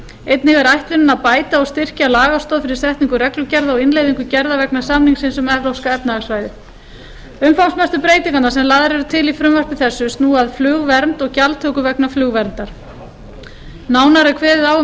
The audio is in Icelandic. einnig er ætlunin að bæta og styrkja lagastoð fyrir setningu reglugerða og innleiðingu gerða vegna samningsins um evrópska efnahagssvæðið umfangsmestu breytingarnar sem lagðar eru til í frumvarpi þessu snúa að flugvernd og gjaldtöku vegna flugverndar nánar er kveðið á um